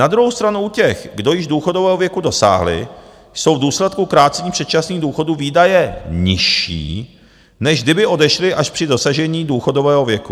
Na druhou stranu u těch, kdo již důchodového věku dosáhli, jsou v důsledku krácení předčasných důchodů výdaje nižší, než kdyby odešli až při dosažení důchodového věku.